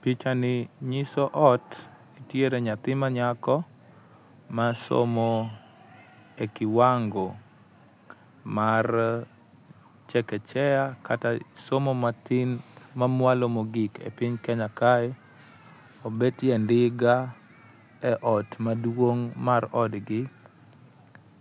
Pichs ni nyiso ot to nitiere nyathi manyako masomo e kiwango mar chekechea kata somo matin mamwalo mogik e piny Kenya kae. Obetie ndiga eot maduong' mar odgi